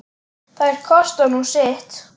Þær kosta nú sitt.